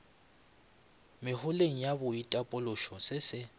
meholeng ya boitapološo se se